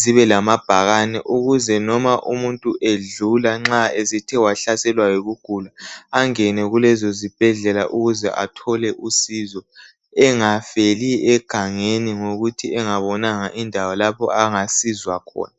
zibe lamabhakane ukuze noma umuntu edlula nxa esethe wahlaselwa yikugula angene kulezo zibhedlela ukuze athola usizo engafeli egangeni ngokuthi engabonanga indawo lapho angasizwa khona.